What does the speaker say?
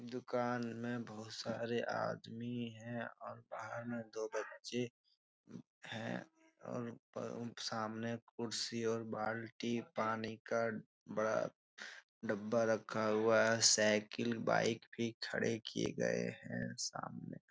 दुकान में बहुत सारे आदमी हैं और बाहर में दो बच्चे हैं और उ सामने कुर्सी और बाल्टी पानी का बड़ा डब्बा रखा हुआ है। साइकिल बाइक भी खड़े किये गए हैं सामने।